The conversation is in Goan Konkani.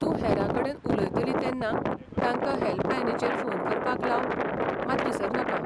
तूं हेरांकडेन उलयतली तेन्ना तांकां हॅल्पलायनीचेर फोन करपाक लावंक मात विसरनाका.